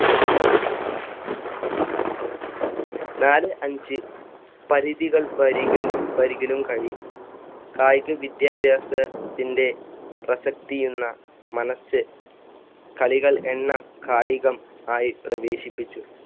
നാല് അഞ്ച് പരിധികൾ വരികലും~ വരികിലും കഴി~ കായിക വിദ്യാഭ്യാസത്തിന്‍ടെ പ്രസക്തിയെന്ന മനസ്സ് കളികൾ എണ്ണം കായികം ആയി പ്രവേശിപ്പിച്ചു.